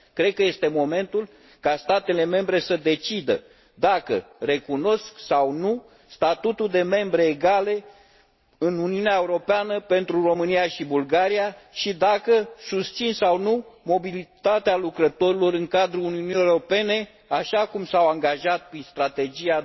Cred că este momentul ca statele membre să decidă dacă recunosc sau nu statutul de membre egale în Uniunea Europeană pentru România și Bulgaria și dacă susțin sau nu mobilitatea lucrătorilor în cadrul Uniunii Europene, așa cum s au angajat prin Strategia